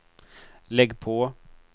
lägg på